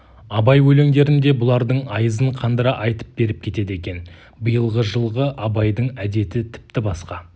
абай өлеңдерін де бұлардың айызын қандыра айтып беріп кетеді екен биылғы жылғы абайдың әдеті тіпті басқа